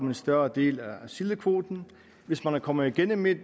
en større del af sildekvoten hvis man kommer igennem med